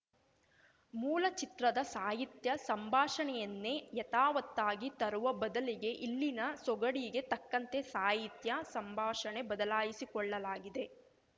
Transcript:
ಮೂಲ ಚಿತ್ರದ ಸಾಹಿತ್ಯ ಸಂಭಾಷಣೆಯನ್ನೇ ಯಥಾವತ್ತಾಗಿ ತರುವ ಬದಲಿಗೆ ಇಲ್ಲಿನ ಸೊಗಡಿಗೆ ತಕ್ಕಂತೆ ಸಾಹಿತ್ಯ ಸಂಭಾಷಣೆ ಬದಲಾಯಿಸಿಕೊಳ್ಳಲಾಗಿದೆ